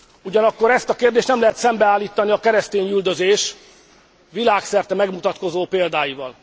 Ugyanakkor ezt a kérdést nem lehet szembeállítani a keresztényüldözés világszerte megmutatkozó példáival.